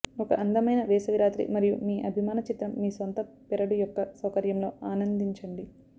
ఒక అందమైన వేసవి రాత్రి మరియు మీ అభిమాన చిత్రం మీ సొంత పెరడు యొక్క సౌకర్యం లో ఆనందించండి